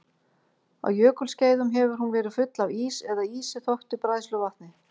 Á jökulskeiðum hefur hún verið full af ís eða ísi þöktu bræðsluvatni.